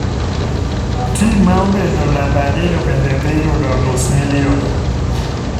tim ma obedo namb ariyo bende dhi yudo nus milion.